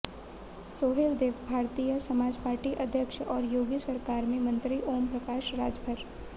सोहेलदेव भारतीय समाजपार्टी अध्यक्ष और योगी सरकार में मंत्री ओम प्रकाश राजभर